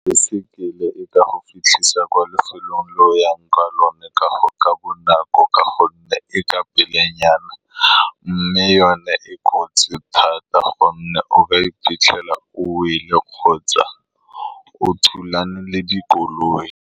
Baesekele e ka go fitlhisa kwa lefelong le o yang ko go lone ka bonako, ka gonne e ka pelenyana, mme yone e kotsi thata, ka gonne o ka iphitlhela o wele kgotsa o thulane le dikoloi.